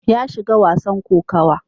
Ya shiga wasan kokawa.